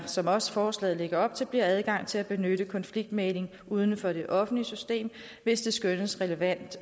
som også forslaget lægger op til bliver adgang til at benytte konfliktmægling uden for det offentlige system hvis det skønnes relevant